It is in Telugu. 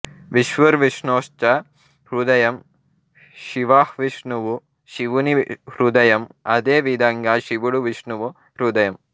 విష్ణుర్విష్ణోశ్చ హృదయం శివఃవిష్ణువు శివుని హృదయం అదే విధంగా శివుడు విష్ణువు హృదయం